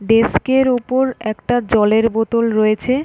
desk এর ওপর একটা জলের বোতল রয়েছে--